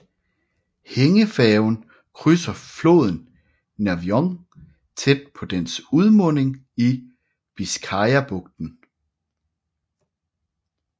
Hængefærgen krydser floden Nervión tæt på dens udmunding i Biscayabugten